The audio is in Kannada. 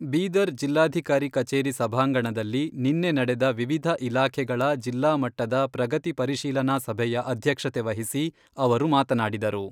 ಬೀದರ್ ಜಿಲ್ಲಾಧಿಕಾರಿ ಕಚೇರಿ ಸಭಾಂಗಣದಲ್ಲಿ ನಿನ್ನೆ ನಡೆದ ವಿವಿಧ ಇಲಾಖೆಗಳ ಜಿಲ್ಲಾ ಮಟ್ಟದ ಪ್ರಗತಿ ಪರಿಶೀಲನಾ ಸಭೆಯ ಅಧ್ಯಕ್ಷತೆ ವಹಿಸಿ ಅವರು ಮಾತನಾಡಿದರು.